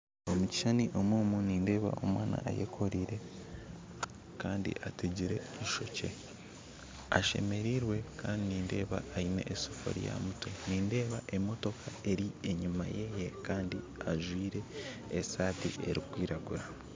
Omu kishuushani omu nindeeba omwaana ayakoreire kandi ateegire eishookye ashemerirwe kandi nindeeba aine esaafuriya aha mutwe nindeeba emotooka eri enyuma yeeye kandi ajwire esaati erikwiraguura